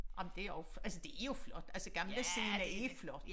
Jamen det også altså det er jo flot altså Gamle Scene er flot